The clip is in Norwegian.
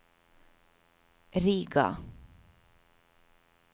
Riga